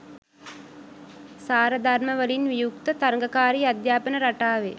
සාරධර්මවලින් වියුක්ත තරගකාරී අධ්‍යාපන රටාවේ